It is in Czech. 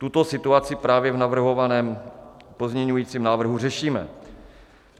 Tuto situaci právě v navrhovaném pozměňovacím návrhu řešíme.